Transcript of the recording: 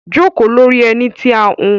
joko lori eni ti a hun